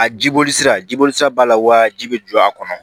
A jiboli sirab sira b'a la wa ji bɛ jɔ a kɔnɔ